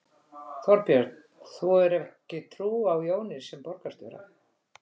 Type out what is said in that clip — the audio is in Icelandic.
Þorbjörn: Þú hefur ekki trú á Jóni sem borgarstjóra?